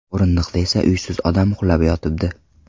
O‘rindiqda esa uysiz odam uxlab yotibdi.